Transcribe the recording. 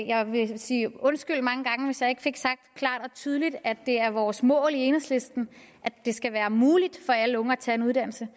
jeg vil sige undskyld mange gange hvis jeg ikke fik sagt klart og tydeligt at det er vores mål i enhedslisten at det skal være muligt for alle unge at tage en uddannelse